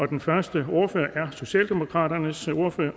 den første ordfører er socialdemokratiets ordfører